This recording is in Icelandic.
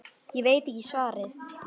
Ég veit ekki svarið.